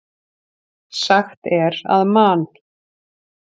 Sagt er að Man.